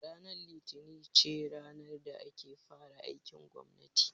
Ranar litini ce ranar da ake fara aikin gwammati